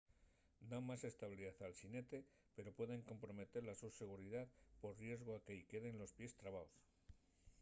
dan más estabilidá al xinete pero pueden comprometer la so seguridá pol riesgu a que-y queden los pies trabaos